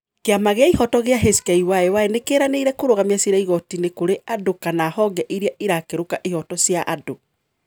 Kĩama gĩa ihoto gĩa HKYY nĩ kĩranĩire kũrugamĩa cira igotini kĩũrĩ andũ kama honge irĩa irakĩruka ihoto cia andũ